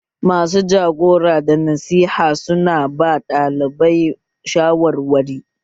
Masu jagora da nasiha su na ba ɗalibai shawarwari